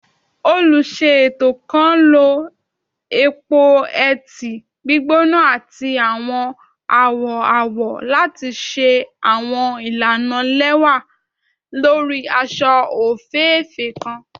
Oluṣeto kan lo epo-eti gbigbona ati awọn awọ awọ lati ṣe awọn ilana lẹwa lori aṣọ ofeefee kan